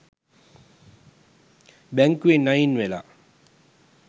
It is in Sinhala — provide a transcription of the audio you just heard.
බැංකුවෙන් අයින් වෙලා